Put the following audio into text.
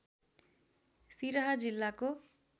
सिरहा जिल्लाको